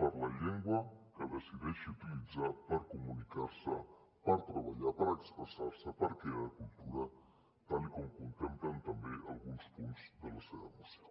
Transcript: per la llengua que decideixi utilitzar per comunicar se per treballar per expressar se per crear cultura tal com contemplen també alguns punts de la seva moció